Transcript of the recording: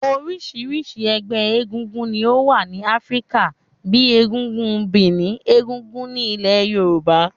Orisirisi ẹgbẹ́ egúngún ni ó wà ní Áfríkà, bíi egúngún Benin, egúngún ní ilẹ̀ Yorùbá.